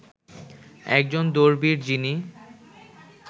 একজন দৌড়বীর যিনি